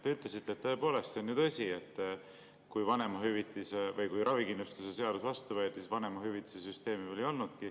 Te ütlesite, tõepoolest, et kui ravikindlustuse seadus vastu võeti, siis vanemahüvitise süsteemi ei olnudki.